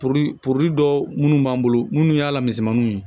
dɔ minnu b'an bolo munnu y'a lamisɛnmaninw ye